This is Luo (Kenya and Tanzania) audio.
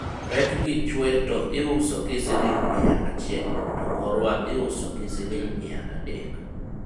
rejgi chwe to iuso gi siling' miya achiel ,to korwa iusogi siling' miya adek